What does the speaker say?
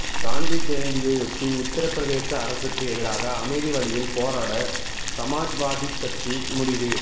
காந்தி ஜெயந்தியையொட்டி உத்தரப்பிரதேச அரசுக்கு எதிராக அமைதி வழியில் போராட சமாஜ்வாதி கட்சி முடிவு